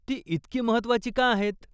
ती इतकी महत्त्वाची का आहेत?